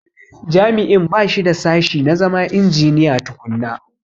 Jami'in ba shi da sashi na zama injiniya tukunna.